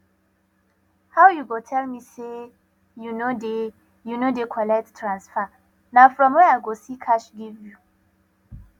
how you go tell me say you no dey you no dey collect transfer na from where i go see cash give you